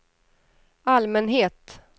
allmänhet